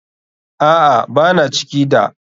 Aa, Bana ciki da.